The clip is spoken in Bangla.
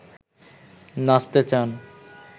নাচতে চান